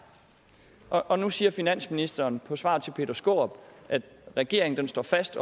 og nu siger finansministeren i svar til peter skaarup at regeringen står fast